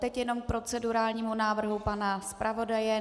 Teď jenom k procedurálnímu návrhu pana zpravodaje.